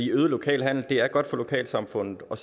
øget lokal handel er godt for lokalsamfundet og